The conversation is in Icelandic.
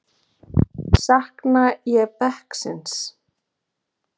Sakna ég bekksins?